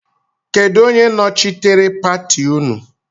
Kedụ onye nochitere pati nnu?